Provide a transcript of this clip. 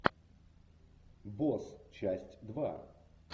босс часть два